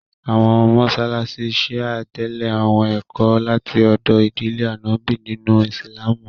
Àwọn mọṣáláṣí Shia tẹlè àwọn ẹ̀kọ́ láti ọdọ̀ ìdílé Ànọ́bì nínú Ìsìlámù